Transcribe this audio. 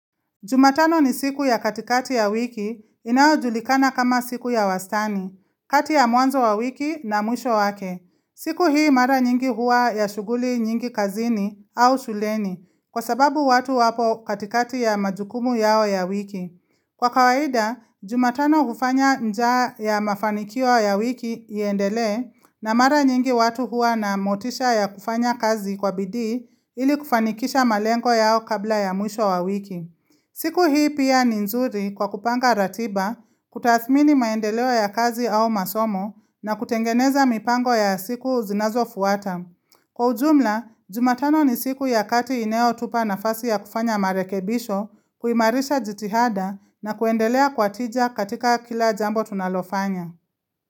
Jumatano ni siku ya katikati ya wiki inayojulikana kama siku ya wastani, kati ya mwanzo wa wiki na mwisho wake. Siku hii mara nyingi huwa ya shughuli nyingi kazini au shuleni kwa sababu watu wapo katikati ya majukumu yao ya wiki. Kwa kawaida, jumatano hufanya njaa ya mafanikio ya wiki iendelee na mara nyingi watu huwa na motisha ya kufanya kazi kwa bidii ili kufanikisha malengo yao kabla ya mwisho wa wiki. Siku hii pia ni nzuri kwa kupanga ratiba, kutathmini maendeleo ya kazi au masomo na kutengeneza mipango ya siku zinazofuata. Kwa ujumla, jumatano ni siku ya kati inayo tupa nafasi ya kufanya marekebisho, kuimarisha jitihada na kuendelea kwa tija katika kila jambo tunalofanya.